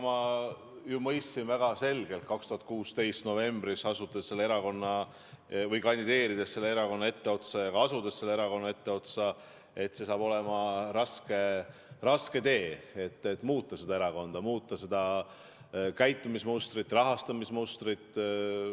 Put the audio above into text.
Ma ju mõistsin väga selgelt 2016. aasta novembris, kandideerides selle erakonna etteotsa ja ka asudes selle erakonna etteotsa, et see saab olema raske tee, et muuta seda erakonda, muuta seda käitumismustrit, rahastamismustrit.